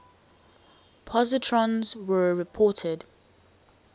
positrons were reported